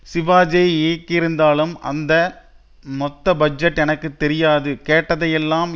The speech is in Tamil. சிவாஜியை இயக்கியிருந்தாலும் அதன் மொத்த பட்ஜெட் எனக்கு தெரியாது கேட்டதையெல்லாம்